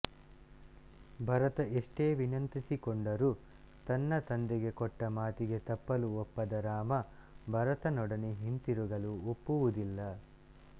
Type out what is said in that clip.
ಭರತ ಎಷ್ಟೇ ವಿನಂತಿಸಿಕೊಂಡರೂ ತನ್ನ ತಂದೆಗೆ ಕೊಟ್ಟ ಮಾತಿಗೆ ತಪ್ಪ್ಪಲು ಒಪ್ಪದ ರಾಮ ಭರತನೊಡನೆ ಹಿಂತಿರುಗಲು ಒಪ್ಪುವುದಿಲ್ಲ